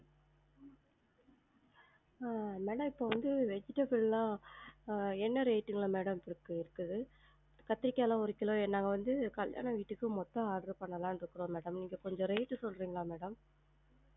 ஆஹ் madam இப்ப வந்து vegetable லாம் ஆஹ் என்ன rate ல madam இருக்குது? கத்திரிக்காலாம் ஒரு கிலோ ஏனா? வந்து கல்யாண வீட்டுக்கு மொத்த order பன்னலாம் இருக்குறோம் madam நீங்க கொஞ்சம் rate உ சொல்லுறிங்களா madam?